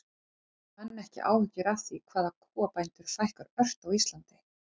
En hafa menn ekki áhyggjur af því hvað kúabændum fækkar ört á Íslandi?